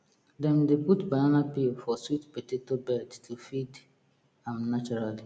dem dey put banana peel for sweet potato bed to feed am naturally